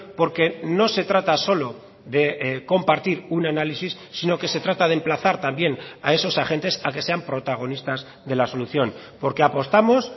porque no se trata solo de compartir un análisis sino que se trata de emplazar también a esos agentes a que sean protagonistas de la solución porque apostamos